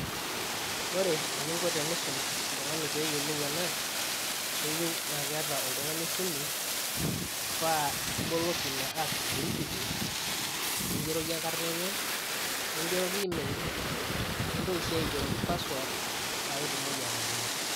Ore eninko tenisum oltung'ani peyiolou ena, keyieu na keeta oltung'ani esimu, pa iboloki ina app e Equity, nigeroki enkarna enye, nigeroki email, nintoki si aigeroki password ,paketumoki atabolo.